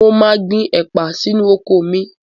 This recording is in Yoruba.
Mo máa gbin ẹ̀pà sínú oko mi